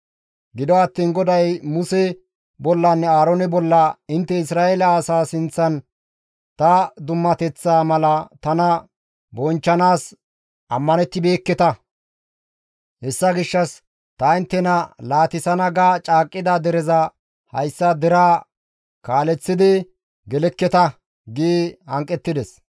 Gido attiin GODAY Muse bollanne Aaroone bolla, «Intte Isra7eele asa sinththan ta dummateththaa mala tana bonchchanaas ammanettibeekketa; hessa gishshas ta inttena laatissana ga caaqqida dereza hayssa deraa kaaleththidi gelekketa» gi hanqettides.